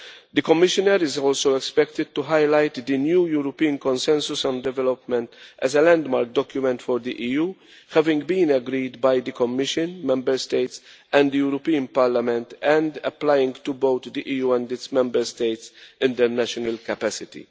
The Commissioner is also expected to highlight the new European consensus on development as a landmark document for the EU, having been agreed by the Commission, Member States and the European Parliament and applying to both the EU and its Member States, in their national capacity.